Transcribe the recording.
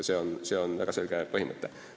See on väga selge põhimõte.